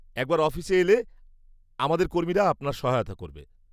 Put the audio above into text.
-একবার অফিসে এলে আমাদের কর্মীরা আপনার সহায়তা করবে।